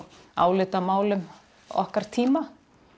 álitamálum okkar tíma